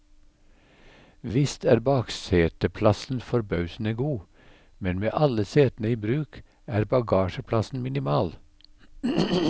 Visst er bakseteplassen forbausende god, men med alle setene i bruk er bagasjeplassen minimal.